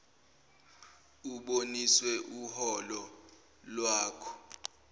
ubonise uholo wakho